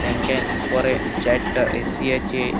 ব্যাং -এর উপরে চায়েরটা এ.সি. আছে।